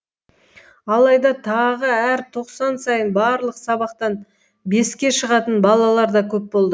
алайда тағы әр тоқсан сайын барлық сабақтан беске шығатын балалар да көп болды